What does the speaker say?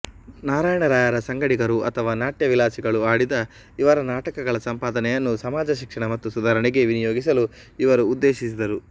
ನಾರಾಯಣರಾಯರ ಸಂಗಡಿಗರು ಅಥವಾ ನಾಟ್ಯವಿಲಾಸಿಗಳು ಆಡಿದ ಇವರ ನಾಟಕಗಳ ಸಂಪಾದನೆಯನ್ನು ಸಮಾಜಶಿಕ್ಷಣ ಮತ್ತು ಸುಧಾರಣೆಗೆ ವಿನಿಯೋಗಿಸಲು ಇವರು ಉದ್ದೇಶಿಸಿದ್ದರು